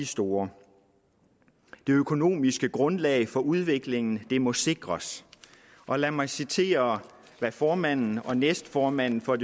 store det økonomiske grundlag for udviklingen må sikres og lad mig citere hvad formanden og næstformanden for